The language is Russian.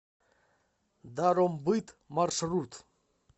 даромбыт маршрут